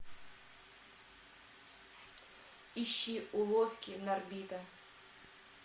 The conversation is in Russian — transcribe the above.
ищи уловки норбита